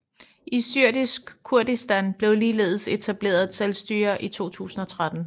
I Syrisk Kurdistan blev ligeledes etableret et selvstyre i 2013